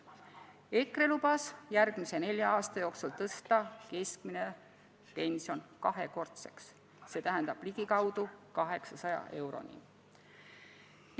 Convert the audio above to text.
EKRE lubas järgmise nelja aasta jooksul tõsta keskmise pensioni kahekordseks, st ligikaudu 800 euroni.